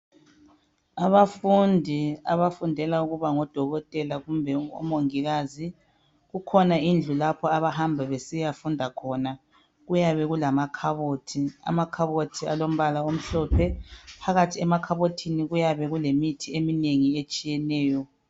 Abafundi abafundela ukuba ngodokotela kumbe omongikazi kukhona indlu lapho abahamba besiyafunda khona kuyabe kulamakhabothi. Amakhabothi alombala omhlophe. Phakathi emakhabothini kuyabe kulemithi eminengi etshiyeneyo.